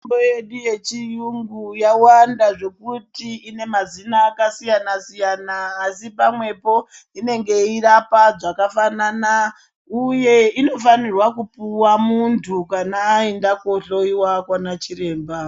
Mitombo yedu yechiyungu yawanda zvekuti Ine mazina akasiyana siyana asi pamwepo inenge yeirapa zvakafanana uye inofanira kupuwa muntu kana aenda kohloyiwa kwachiremba